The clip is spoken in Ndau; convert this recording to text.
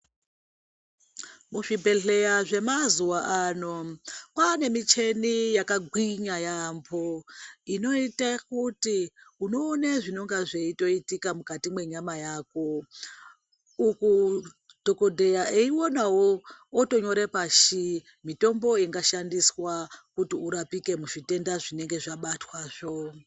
Muzvibhedhleya zvemazuva ano kwane micheni yakagwinya yambo , inoita kuti unoona zvinonga zveitoitika mukati mwenyama yako uku dhokodheya eiwonawo otonyora pashi mitombo ingashandiswa kuti urapike muzvitenda zvinenge zvabatwazvo.